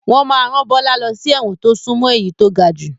Wọn máa ràn Bọlá lọ sí ẹ̀wọ̀n to sún mọ́ èyí to gajù